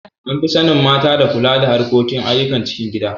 An fi sanin mata da kula da harkokin ayyukan cikin gida.